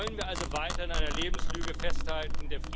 Wollen wir also weiter an einer Lebenslüge festhalten?